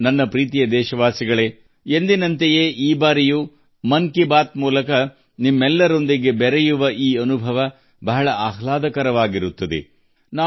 ನನ್ನ ಪ್ರೀತಿಯ ದೇಶವಾಸಿಗಳೇ ಎಂದಿನಂತೆ ಈ ಬಾರಿಯೂ ಮನ್ ಕಿ ಬಾತ್ ಮೂಲಕ ನಿಮ್ಮೆಲ್ಲರೊಂದಿಗೆ ಸಂಪರ್ಕ ಸಾಧಿಸಿರುವುದು ಬಹಳ ಆಹ್ಲಾದಕರ ಅನುಭವ